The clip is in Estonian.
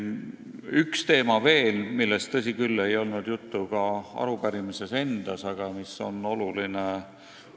Üks teema on veel, millest, tõsi küll, ei olnud juttu ka arupärimises endas, aga mis on oluline.